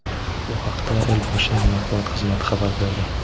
Bu haqda Elboshining matbuot xizmati xabar berdi.